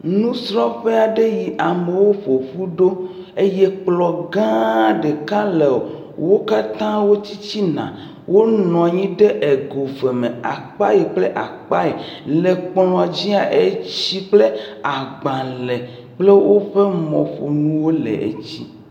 Nusrɔ̃ƒe yi amewo ƒo ƒu ɖo eye kplɔ̃ gãa ɖeka le wo katã wo tsitsina. Wonɔ anyi ɖe ego eve me. Akpa yi kple akpa yi le kplɔ̃ dzia, etsi kpl agbalẽ kple woƒe mɔƒonuwo le edzi.